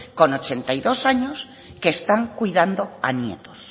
con ochenta y dos años que están cuidando a nietos